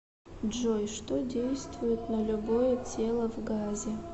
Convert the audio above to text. джой что действует на любое тело в газе